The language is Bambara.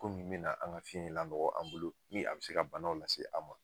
bi na an ka fiɲɛ lanɔgɔ an bolo ni a be se ka banaw lase an ma.